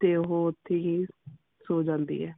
ਤੇ ਉਹ ਓਥੇ ਹੀ ਸੋ ਜਾਂਦੀ ਹੈ।